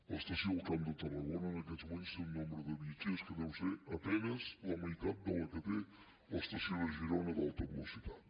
l’estació del camp de tarragona en aquests moments té un nombre de viatgers que deu ser a penes la meitat del que té l’estació de girona d’alta velocitat